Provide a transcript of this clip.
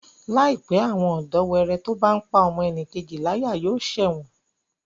Láìpé, àwọn ọ̀dọ́wẹrẹ tó bá n pá ọmọnìkejì láyà yóò ṣẹ̀wọ̀n